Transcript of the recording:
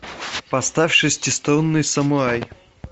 поставь шестиструнный самурай